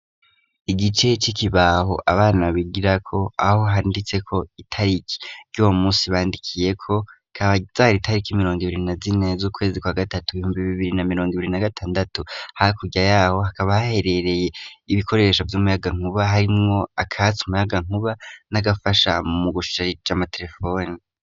Igice c'ikibaho, abana bigirako, aho handitseko itariki ry'uwo munsi bandikiyeko, akaba ari itariki mirongo ibiri na zine z'ukwezi kwa gatatu ibihumbi bibiri na mirongo ibiri na gatandatu, hakurya yaho akaba haherereye ibikoresho vy'umuyagankuba, harimwo akatsa umuyagankuba n'agafasha mu gusharija amatelefoni.